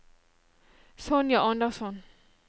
Sonja Andersson